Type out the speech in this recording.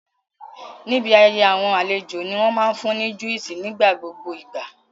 Níbi ayẹyẹ àwọn àlejò ní wọ́n máa fún ní juice nigbogbo ìgbà